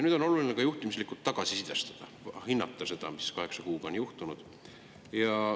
Nüüd on oluline ka juhtimislikult tagasisidestada, hinnata seda, mis on kaheksa kuuga juhtunud.